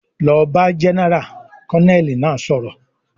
"Lọ bá Jẹ́nẹ́rà!", Kọ́nẹ́ẹ̀lì náà sọ̀rọ̀